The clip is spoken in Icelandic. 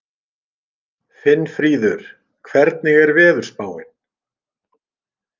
Finnfríður, hvernig er veðurspáin?